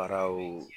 Baaraw